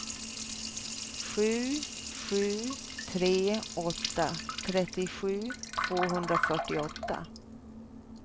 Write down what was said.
sju sju tre åtta trettiosju tvåhundrafyrtioåtta